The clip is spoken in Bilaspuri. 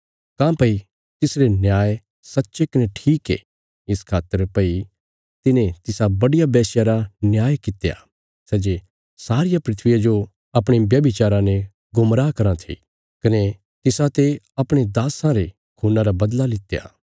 काँह्भई तिसरे न्याय सच्चे कने ठीक ये इस खातर भई तिने तिसा बड्डिया वेश्या रा न्याय कित्या सै जे सारिया धरतिया जो अपणे व्यभिचारा ने गुमराह कराँ थी कने तिसाते अपणे दास्सां रे खून्ना रा बदला लित्या